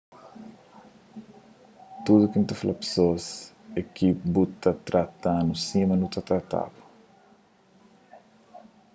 tudu ki n ta fla pesoas é ki bu ta trata-nu sima nu ta trata-bu